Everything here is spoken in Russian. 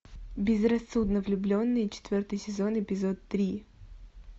безрассудно влюбленные четвертый сезон эпизод три